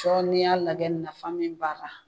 Sɔ ni y'a lajɛ nafa min b'a la